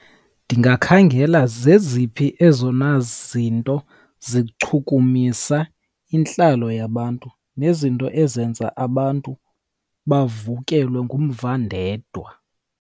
Ndingakhangela zeziphi ezona zinto zikuchumisa intlalo yabantu nezinto ezenza abantu bavukelwe ngumva ndedwa.